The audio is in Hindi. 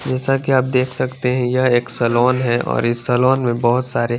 जेसा की आप देख सकते है यह एक सलोन है और इस सलोन में बहोत सारे--